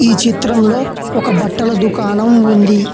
ఈ చిత్రంలో ఒక బట్టల దుకాణం ఉంది.